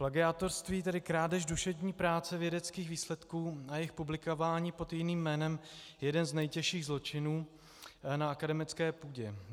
Plagiátorství, tedy krádež duševní práce vědeckých výsledků a jejich publikování pod jiným jménem, je jeden z nejtěžších zločinů na akademické půdě.